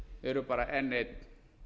eru bara enn einn